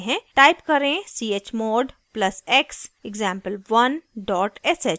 type करें: